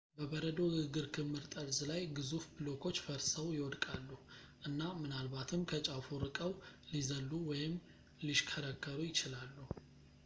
በበረዶ ግግር ክምር ጠርዝ ላይ ግዙፍ ብሎኮች ፈርሰው ፣ ይወድቃሉ እና ምናልባትም ከጫፉ ርቀው ሊዘሉ ወይም ሊሽከረከሩ ይችላሉ